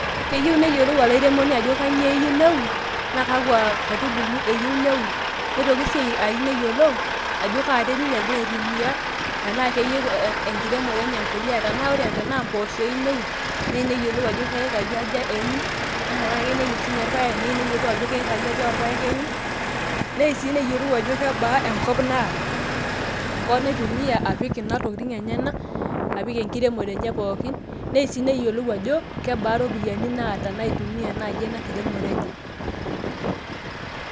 keyieu neyiolou airemoni ajo kainyioo eiyieu neun, naa kakua kaitubu eyieu neun, neyiolou Ajo kaa terit egira aitumia, neyiolou tenaa keyieu enkiremore enye empuliya, tenaa ore tenaa kempoosho eyieu neun, neei neyiolou ajo me yikai aja eun. naa teneyieu neun sii ninye irpaek neei neyiolou ajo keikai aja oorpaek eun, neei sij neyiolou ajo kebaa enkop naata, enkop naitumia apik ena tokitin enyenak apik enkiremore enyanak pookin, nei sii neyiolou ajo, kebaa iropiyiani naitumia naaji ena kiremore enye.